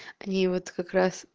они вот как раз